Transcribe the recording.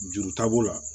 Juru taabolo la